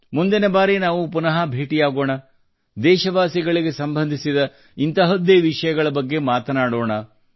ಮುಂದಿನ ಬಾರಿ ನಾವು ಪುನಃ ಭೇಟಿಯಾಗೋಣ ದೇಶವಾಸಿಗಳಿಗೆ ಸಂಬಂಧಿಸಿದ ಇಂತಹದ್ದೇ ವಿಷಯಗಳ ಬಗ್ಗೆ ಮಾತನಾಡೋಣ